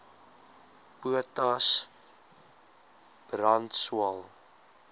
potas brand swael